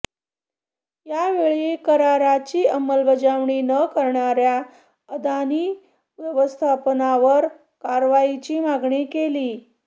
यावेळी कराराची अंमलबजावणी न करणाऱया अदानी व्यवस्थापनावर कारवाईची मागणी केली